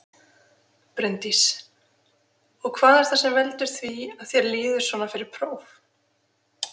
Bryndís: Og hvað er það sem veldur því að þér líður svona fyrir próf?